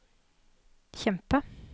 kjempe